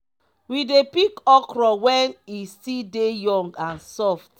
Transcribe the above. we dey pick okro when e still dey young and soft.